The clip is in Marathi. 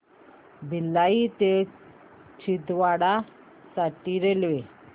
भिलाई ते छिंदवाडा साठी रेल्वे